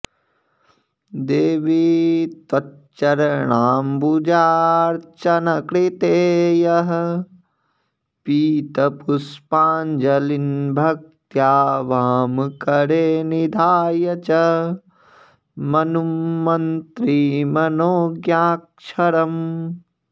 देवि त्वच्चरणाम्बुजार्च्चनकृते यः पीतपुष्पाञ्जलीन्भक्त्या वामकरे निधाय च मनुम्मन्त्री मनोज्ञाक्षरम्